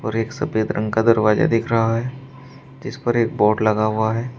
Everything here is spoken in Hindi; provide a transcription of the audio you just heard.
फिर एक सफेद रंग का दरवाजा दिख रहा है जिस पर एक बोर्ड लगा हुआ है।